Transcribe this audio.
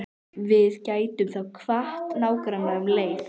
Við gætum þá kvatt nágrannana um leið.